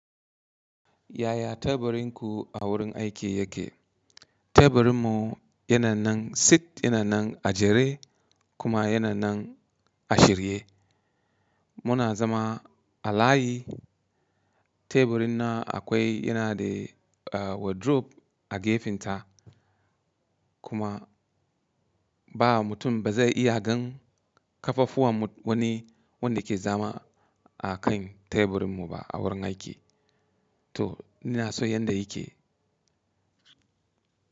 Yaya teburin ku a wurin aiki yake? Teburin mu yana nan sit, yana nan a jere kuma yana nan a shirye. Muna zama a layi. Teburi na akwai yana da wardrobe a gefenta. Kuma ba mutum ba zai iya gan kafafuwan wani wanda ke zama a kan teburin mu ba a wurin aiki. To ina so yadda yake.